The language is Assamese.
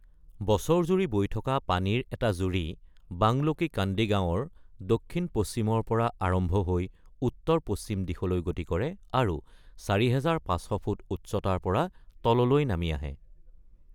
বছৰজুৰি বৈ থকা পানীৰ এটা জুৰি বাংলো কী কান্দি গাঁৱৰ দক্ষিণ-পশ্চিমৰ পৰা আৰম্ভ হৈ উত্তৰ-পশ্চিম দিশলৈ গতি কৰে আৰু ৪৫০০ ফুট উচ্চতাৰ পৰা তললৈ নামি আহে৷